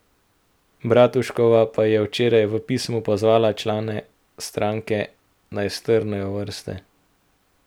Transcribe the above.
Bratuškova pa je včeraj v pismu pozvala člane stranke, naj strnejo vrste.